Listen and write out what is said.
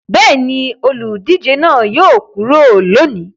Bẹ́ẹ̀ ni, olùdíje náà yóò kúrò lónìí.